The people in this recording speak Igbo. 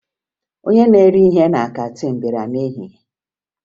Onye na-ere ihe na kantiin bịara n'ehihie